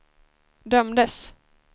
dömdes